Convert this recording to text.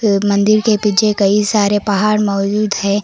मंदिर के पीछे कई सारे पहाड़ मौजूद है।